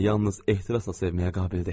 Parina yalnız ehtirasla sevməyə qabildir.